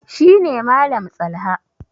shi ne Malam tsalha